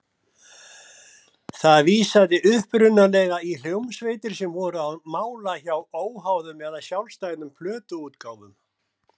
Það vísaði upprunalega í hljómsveitir sem voru á mála hjá óháðum eða sjálfstæðum plötuútgáfum.